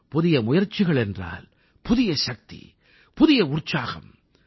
புதிய முயற்சிகள் என்றால் புதிய சக்தி புதிய உற்சாகம்